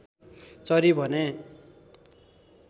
चरी भने